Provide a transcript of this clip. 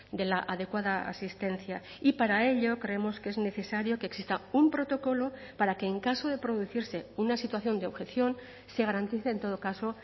de la adecuada asistencia y para ello creemos que es necesario que exista un protocolo para que en caso de producirse una situación de objeción se garantice en todo caso